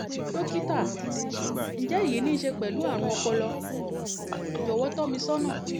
dọ́kítà ǹjẹ́ èyí ní í ṣe pẹ̀lú àrùn ọ̀pọlọ? jọ̀wọ́ tọ́ mi sọ́nà